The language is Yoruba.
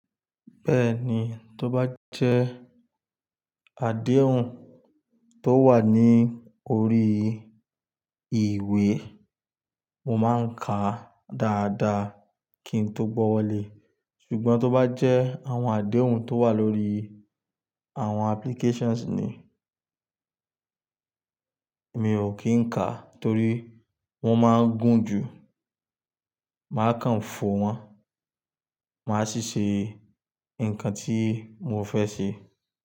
Bẹ́ẹ̀ni, tó bá jẹ́ àdéhùn tó wà ní orí ìwé, mo máa ń ka dáadáa kí n tó gbọ́wọ́le. Ṣùgbọ́n tó bá jẹ́ àwọn àdéhùn tó wà lórí àwọn applications ni, mi ò kì í ka torí wọ́n máa ń gùn jù. Màá kàn fò wọn, màá sì ṣe nǹkan tí mo fẹ́ ṣe.